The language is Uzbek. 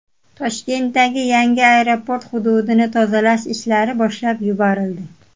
Toshkentdagi yangi aeroport hududini tozalash ishlari boshlab yuborildi.